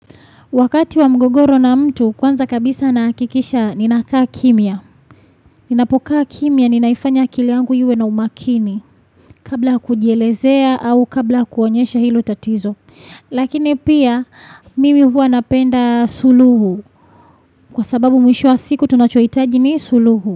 Wakati wa mgogoro na mtu kwanza kabisa nahakikisha ninakaa kimya. Ninapokaa kimya ninaifanya akili yangu iwe na umakini kabla ya kujielezea au kabla ya kuonyesha hilo tatizo. Lakini pia mimi huwa napenda suluhu kwa sababu misho wa siku tunachoitaji ni suluhu.